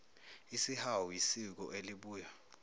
isihawu yisiko elibuya